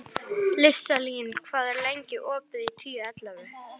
Listalín, hvað er lengi opið í Tíu ellefu?